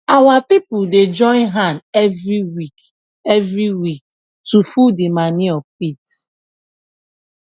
our people dey join hand every week every week to full di manure pit